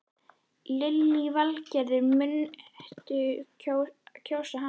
Lillý Valgerður: Muntu kjósa hann?